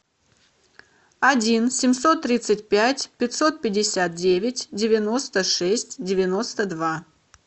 один семьсот тридцать пять пятьсот пятьдесят девять девяносто шесть девяносто два